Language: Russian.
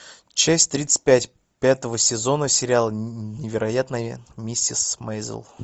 часть тридцать пять пятого сезона сериала невероятная миссис мейзел